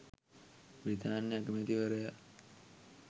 බ්‍රිතාන්‍ය අගමැතිවරයා